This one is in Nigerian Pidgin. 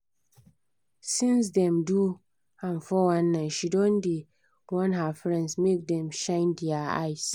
since dem do am 419 she don dey warn her friends make dem shine their eye